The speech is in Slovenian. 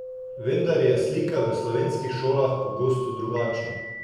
Vendar je slika v slovenskih šolah pogosto drugačna.